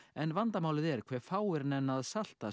en vandamálið er hve fáir nenna að salta